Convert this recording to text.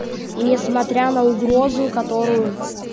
несмотря на угрозу которую